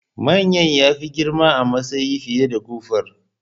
Manyan ya fi girma a matsayi fiye da kofur